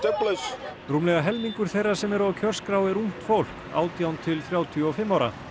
rúmlega helmingur þeirra sem eru á kjörskrá er ungt fólk átján til þrjátíu og fimm ára